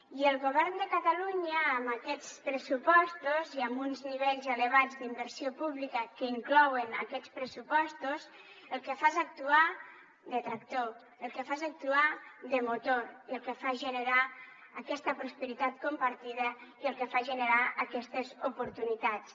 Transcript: i el govern de catalunya amb aquests pressupostos i amb uns nivells elevats d’inversió pública que inclouen aquests pressupostos el que fa és actuar de tractor el que fa és actuar de motor i el que fa és generar aquesta prosperitat compartida i el que fa és generar aquestes oportunitats